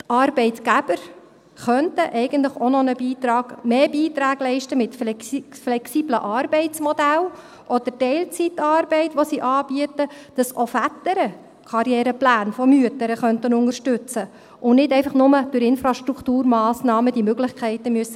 Die Arbeitgeber könnten eigentlich auch noch mehr Beiträge leisten, mit flexiblen Arbeitsmodellen oder Teilzeitarbeit, die sie anbieten, damit auch Väter Karrierepläne von Müttern unterstützen könnten, sodass diese Möglichkeiten nicht einfach nur durch Infrastrukturmassnahmen gegeben werden müssen.